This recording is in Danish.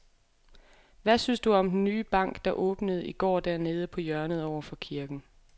Hvad synes du om den nye bank, der åbnede i går dernede på hjørnet over for kirken?